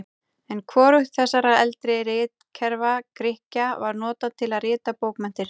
En hvorugt þessara eldri ritkerfa Grikkja var notað til að rita bókmenntir.